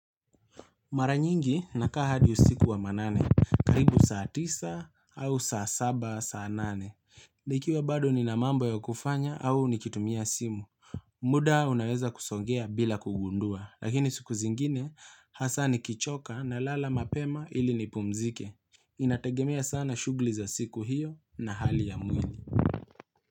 Mara nyingi nakaa hadi usiku wa manane, karibu saa tisa au saa saba, saa nane. Nikiwa bado nina mambo ya kufanya au nikitumia simu. Muda unaweza kusongea bila kugundua, lakini siku zingine hasa ni kichoka nalala mapema ili nipumzike. Inategemea sana shughuli za siku hiyo na hali ya mwili.